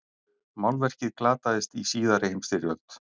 málverkið glataðist í síðari heimsstyrjöld